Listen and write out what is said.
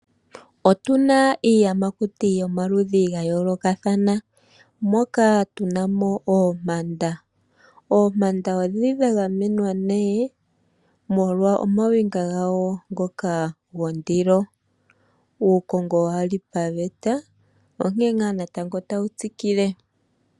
Otuna iiyamakuti yomaludhi ga yoolokathana moka tuna mo oompanda. Oompanda odhili dha gamenwa molwa omawinga gawo ngoka gondilo. Uukongo wali paveta onkene ngaa natango tawu tsikile.